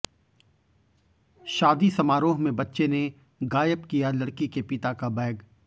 शादी समारोह में बच्चे ने गायब किया लड़की के पिता का बैग